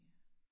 Ja